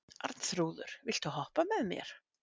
Arnþrúður, viltu hoppa með mér?